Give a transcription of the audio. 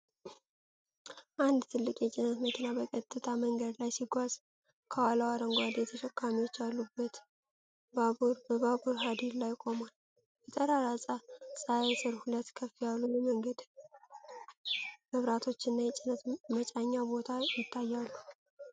አንድ ትልቅ የጭነት መኪና በቀጥታ መንገድ ላይ ሲጓዝ፤ ከኋላው አረንጓዴ ተሸካሚዎች ያሉት ባቡር በባቡር ሐዲድ ላይ ቆሟል። በጠራራ ፀሐይ ስር ሁለት ከፍ ያሉ የመንገድ መብራቶችና የጭነት መጫኛ ቦታ ይታያሉ።